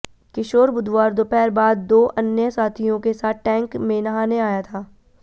किशोर बुधवार दोपहर बाद दो अन्य साथियों के साथ टैंक में नहाने आया था